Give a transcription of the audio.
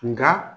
Nka